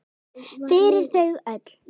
Fyrir þau öll!